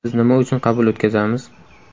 Biz nima uchun qabul o‘tkazamiz.